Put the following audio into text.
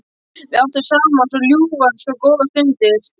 Við áttum saman svo ljúfar og góðar stundir.